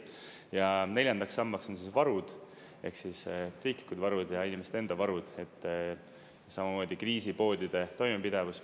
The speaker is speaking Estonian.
Ja neljandaks sambaks on varud, ehk riiklikud varud ja inimeste enda varud, samamoodi kriisipoodide toimepidevus.